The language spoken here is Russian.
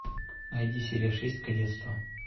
найди серия шесть кадетство